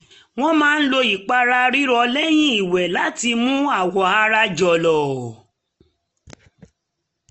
wọ́n máa lò ìpara rírọ̀ lẹ́yìn ìwẹ̀ láti mú awọ ara jọ̀lọ̀